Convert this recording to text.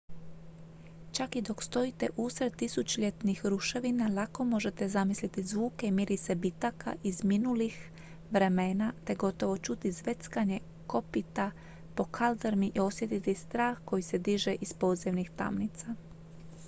čak i dok stojite usred tisućljetnih ruševina lako možete zamisliti zvuke i mirise bitaka iz minulih vremena te gotovo čuti zveckanje kopita po kaldrmi i osjetiti strah koji se diže iz podzemnih tamnica